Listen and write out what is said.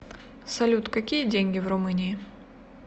салют какие деньги в румынии